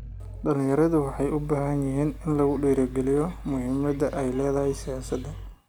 Dhalinyaradu waxay u baahan yihiin in lagu dhiirigaliyo muhiimada ay leedahay siyaasada.